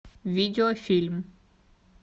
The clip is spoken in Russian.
видеофильм